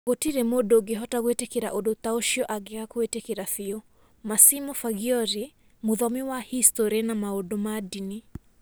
"Gũtirĩ mũndũ ũngĩhota gwĩtĩkĩra ũndũ ta ũcio angĩaga kũwĩtĩkĩra biũ". - Massimo Faggioli, mũthomi wa historĩ na maũndũ ma ndini.